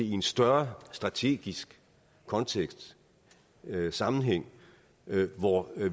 i en større strategisk kontekst sammenhæng hvor